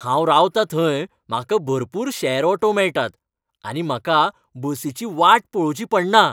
हांव रावता थंय म्हाका भरपूर शॅर ऑटो मेळटात आनी म्हाका बसीची वाट पळोवची पडना.